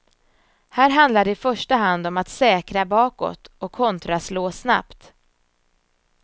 Här handlar det i första hand om att säkra bakåt och kontraslå snabbt.